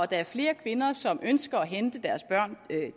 der er flere kvinder som ønsker at hente deres børn